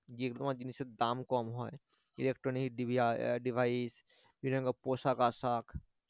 তোমার জিনিসের দাম কম হয় electronic ডিবি device বিভিন্ন পোশাক-আশাক